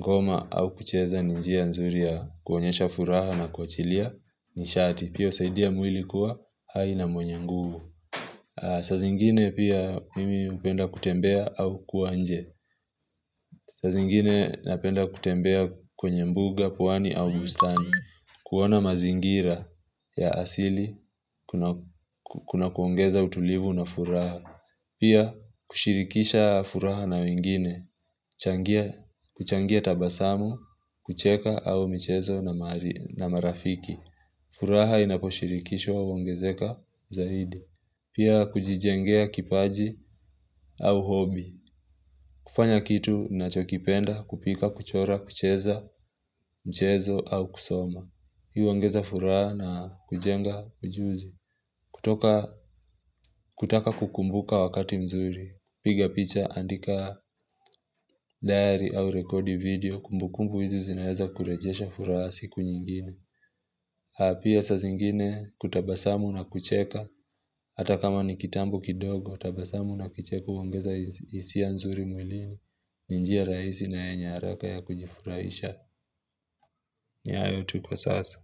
ngoma au kucheza ni njia nzuri ya kuonyesha furaha na kuachilia nishati, pia husaidia mwili kuwa hai na mwenye nguvu. Sazingine pia mimi hupenda kutembea au kuwa nje. Saa zingine napenda kutembea kwenye mbuga, pwani au bustani. Kuona mazingira ya asili kuna kuongeza utulivu na furaha. Pia kushirikisha furaha na wengine, kuchangia tabasamu, kucheka au michezo na marafiki furaha inaposhirikishwa huongezeka zaidi Pia kujijengea kipaji au hobi kufanya kitu ninachokipenda kupika, kuchora, kucheza, mchezo au kusoma Hii huongeza furaha na kujenga ujuzi kutoka kutaka kukumbuka wakati mzuri piga picha andika dayari au rekodi video kumbukumbu hizi zinaeza kurejesha furaha za siku nyingine na pia saa zingine kutabasamu na kucheka Hata kama ni kitambo kidogo tabasamu na kicheko huongeza hisia nzuri mwilini ni njia rahisi na yenye haraka ya kujifuraisha ni hayo tu kwa sasa.